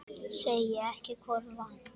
Segi ekki hvor vann.